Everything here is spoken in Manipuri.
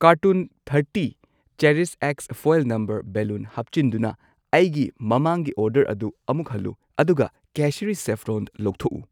ꯀꯥꯔꯇꯨꯟ ꯊꯔꯇꯤ ꯆꯦꯔꯤꯁꯑꯦꯛꯁ ꯐꯣꯏꯜ ꯅꯝꯕꯔ ꯕꯦꯂꯨꯟ ꯍꯥꯞꯆꯤꯟꯗꯨꯅ ꯑꯩꯒꯤ ꯃꯃꯥꯡꯒꯤ ꯑꯣꯔꯗꯔ ꯑꯗꯨ ꯑꯃꯨꯛ ꯍꯜꯂꯨ, ꯑꯗꯨꯒ ꯀꯦꯁꯔꯤ ꯁꯦꯐꯐ꯭ꯔꯣꯟ ꯂꯧꯊꯣꯛꯎ꯫